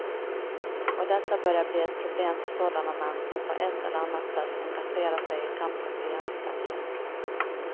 Och detta börjar bli ett problem för sådana män som på ett eller annat sätt engagerar sig i kampen för jämställdhet.